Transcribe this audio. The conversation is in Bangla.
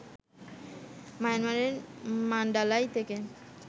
মায়ানমারের মান্ডালায় থেকে